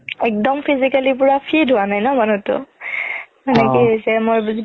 একদম physically পুৰা fit হুৱা নাই ন মানুহতো মানে কি হৈছে মই